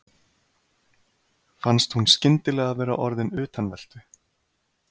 Fannst hún skyndilega vera orðin utanveltu.